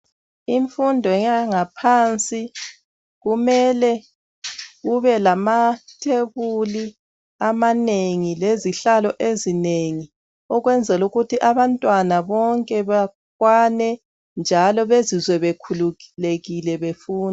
Imfundo yangaphansi kumele kube lamathebuli amanengi, lezihlalo ezinengi ukunzela ukuthi abantwana bonke bakwane, njalo bezizwe bekhululekile befunda